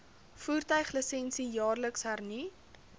voertuiglisensie jaarliks hernu